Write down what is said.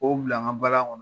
Ko bila, n ga nbalan kɔnɔ.